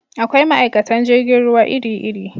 Akwai ma'aikatan jirgin ruwa iri iri